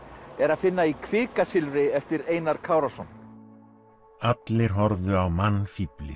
er að finna í kvikasilfri eftir Einar Kárason allir horfðu á